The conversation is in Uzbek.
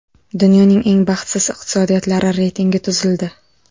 Dunyoning eng baxtsiz iqtisodiyotlari reytingi tuzildi.